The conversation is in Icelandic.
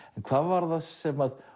hvað var það sem